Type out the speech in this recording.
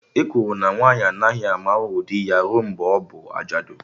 E kwuru na nwaanyị anaghị ama uru dị ya rue mgbe ọbụ ajadu